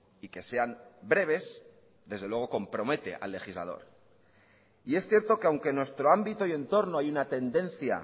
y que sean breves desde luego compromete al legislador y es cierto que aunque en nuestro ámbito y entorno hay una tendencia